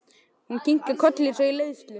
Hún kinkar kolli eins og í leiðslu.